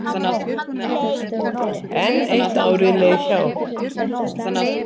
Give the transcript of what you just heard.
Enn eitt árið leið hjá.